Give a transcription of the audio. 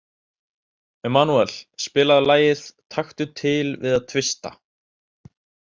Emanúel, spilaðu lagið „Taktu til við að tvista“.